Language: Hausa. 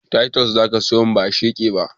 Taitos zaka siyomin ba gesha ba